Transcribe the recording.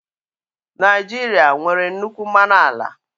Naijiria nwere nnukwu mmanụ ala